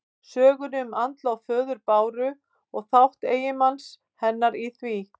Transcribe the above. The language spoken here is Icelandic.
Sögunni um andlát föður Báru og þátt eiginmanns hennar í því.